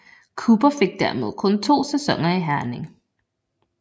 Cooper fik dermed kun to sæsoner i Herning